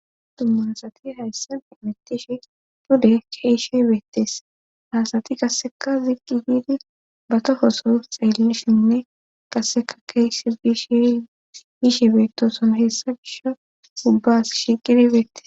Dummansati hayssan imittish pude keyshe beettees haasati qasseka ziqqi hiidi batohoso xeellishinne qasseka keeyshe biishii giishe beettoson heessa bisha ubbas shiqirbeetes